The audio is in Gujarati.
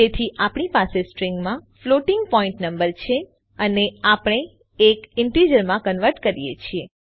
તેથી આપણી પાસે સ્ટ્રીંગમાં ફ્લોટિંગ પોઈન્ટ નંબર છે અને આપણે એ ઈન્ટીજરમાં કન્વર્ટ કરીએ છીએ